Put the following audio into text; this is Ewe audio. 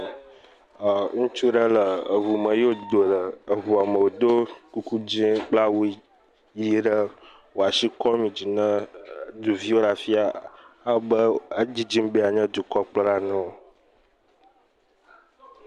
eee., ŋutsu ɖe le eŋu me eye wodo le eŋu me wodo kuku dzɛ̃ kple awu ʋi eye wole asi kɔm yi dzi na ɖeviwo le afi ya ewɔ abe edzidzi be yeanye dukɔkplɔla ene.